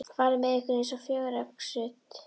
fari með ykkur eins og fjöregg sitt.